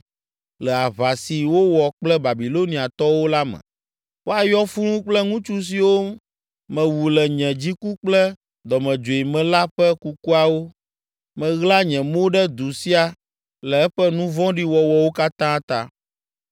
le aʋa si wowɔ kple Babiloniatɔwo la me. ‘Woayɔ fũu kple ŋutsu siwo mewu le nye dziku kple dɔmedzoe me la ƒe kukuawo. Maɣla nye mo ɖe du sia le eƒe nu vɔ̃ɖi wɔwɔwo katã ta.